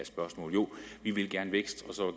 spørgsmålet jo vi vil gerne vækst og så